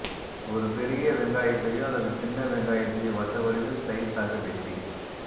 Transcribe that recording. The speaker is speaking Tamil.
ஒரு பெரிய வெங்காயத்தையோ அல்லது சின்ன வெங்காயத்தையோ வட்ட வடிவில் சிலைஸாக வெட்டி